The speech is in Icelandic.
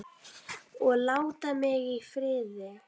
OG LÁTA MIG Í FRIÐI!